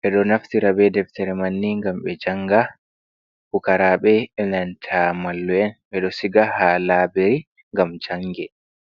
ɓeɗo naftira be deftere manni gam ɓe janga, pukaraɓe enanta mallu’en ɓe ɗo siga ha laberi ngam ɓe janga.